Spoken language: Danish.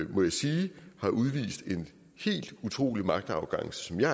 må jeg sige har udvist en helt utrolig magtarrogance som jeg